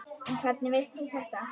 En hvernig veist þú þetta?